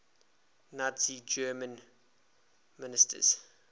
nazi germany ministers